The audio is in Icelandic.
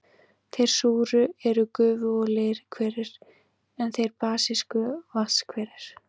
Þeir súru eru gufu- og leirhverir, en þeir basísku vatnshverir.